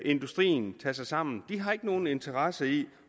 industrien tager sig sammen de har ikke nogen interesse i